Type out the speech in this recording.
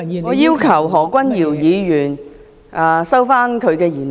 我要求何君堯議員收回言論。